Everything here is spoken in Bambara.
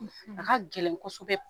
A ka gɛlɛn kosɛbɛ